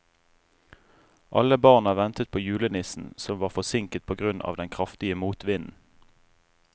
Alle barna ventet på julenissen, som var forsinket på grunn av den kraftige motvinden.